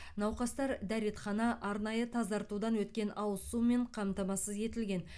науқастар дәретхана арнайы тазартудан өткен ауыз сумен қамтамасыз етілген